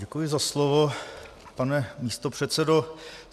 Děkuji za slovo, pane místopředsedo.